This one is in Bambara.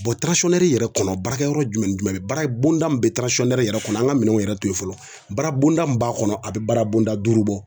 yɛrɛ kɔnɔ baarakɛ yɔrɔ jumɛn ni jumɛn baara bonda min bɛ yɛrɛ kɔnɔ an ka minɛnw yɛrɛ to yen fɔlɔ baara bonda min b'a kɔnɔ a bɛ baara bonda duuru bɔ